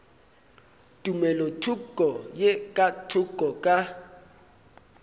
tumelothoko ye ka thoko ka